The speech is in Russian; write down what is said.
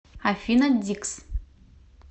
афина дикс